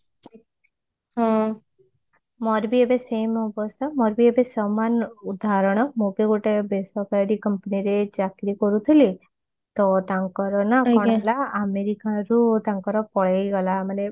ହଁ ମୋର ବି ଏବେ same ଅବସ୍ତା ମୋର ବି ଏବେ ସମାନ ଉଦାହରଣ ମୁଁ ବି ଗୋଟେ ବେସରକାରି company ରେ ଚାକିରି କରୁଥିଲି ତ ତାଙ୍କର ନା କଣ ଥିଲା ଆମେରିକାରୁ ତାଙ୍କର ପଳେଇଗଲା ମାନେ